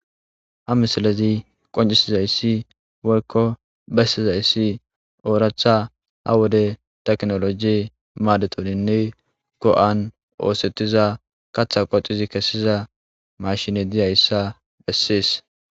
ha misalazi qoncisizayssi wolkko bessiza issi ooractha ha wode teknoloji maadetoninne go7an oosettiza katha qocizi kessiza mashine diyayssa bessees